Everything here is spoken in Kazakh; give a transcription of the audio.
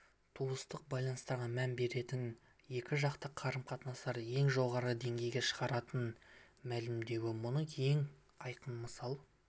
туыстық байланыстарға мән беретінін екіжақты қарым-қатынастарды ең жоғары деңгейге шығаратынын мәлімдеуі мұның ең айқын мысалы